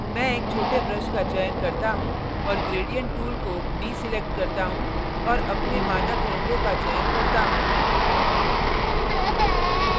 मैं एक छोटे brush का चयन करता हूँ और gradient tool को deselect करता हूँ और अपने मानक रंगों का चयन करता हूँ